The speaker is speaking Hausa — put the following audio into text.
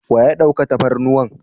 Wa ya ɗauka tafarnuwan?